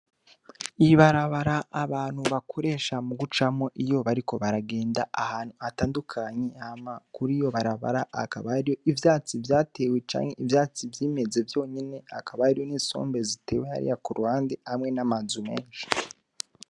Ibarabara abantu bakoresha mu gucamo iyo bariko baragenda ahantu atandukanyi hama kuri iyo barabara akabariyo ivyatsi vyatewe canke ivyatsi vyimeze vyonyene akabariyo n'insombe zitewe hariya ku rhande hamwe n'amazu menshi.